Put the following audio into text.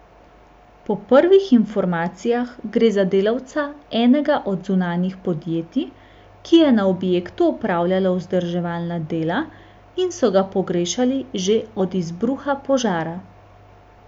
Po prvih informacijah gre za delavca enega od zunanjih podjetij, ki je na objektu opravljalo vzdrževalna dela, in so ga pogrešali že od izbruha požara.